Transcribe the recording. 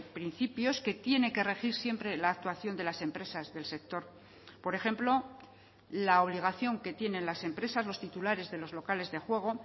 principios que tiene que regir siempre la actuación de las empresas del sector por ejemplo la obligación que tienen las empresas los titulares de los locales de juego